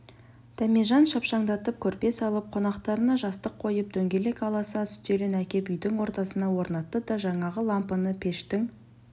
дәмежан шапшаңдатып көрпе салып қонақтарына жастық қойып дөңгелек аласа үстелін әкеп үйдің ортасына орнатты да жаңағы лампыны пештің